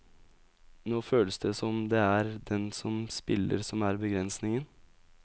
Nå føles det som om det er den som spiller som er begrensningen.